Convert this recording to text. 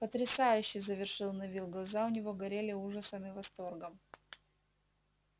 потрясающе завершил невилл глаза у него горели ужасом и восторгом